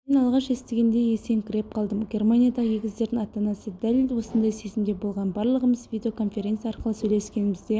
мен алғаш естігенде есеңгіреп қалдым германиядағы егіздердің ата-анасы да дәл осындай сезімде болған барлығымыз видеоконференция арқылы сөйлескенімізде жасымызды тыя алмадық дейді